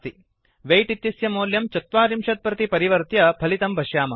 weight इत्यस्य मौल्यं ४० प्रति परिवर्त्य फलितं पश्यामः